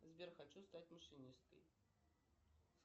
сбер хочу стать машинисткой